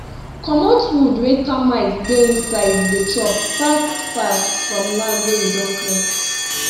comot wood wey termite dey inside dey chop fast fast from land wey you don clear